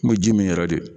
N bɛ ji min yɛrɛ de